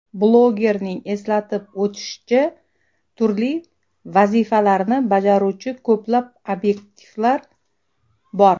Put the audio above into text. Blogerning eslatib o‘tishicha, turli vazifalarni bajaruvchi ko‘plab obyektivlar bor.